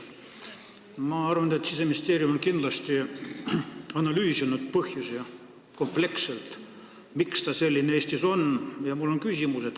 Ma arvan, et Siseministeerium on kindlasti kompleksselt põhjusi analüüsinud, miks see seis Eestis selline on.